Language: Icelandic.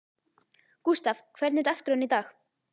Gústav, hvernig er dagskráin í dag?